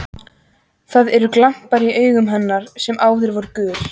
Það eru glampar í augum hennar sem áður voru gul.